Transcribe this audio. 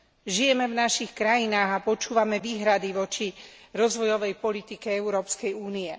Žijeme v našich krajinách a počúvame výhrady voči rozvojovej politike Európskej únie.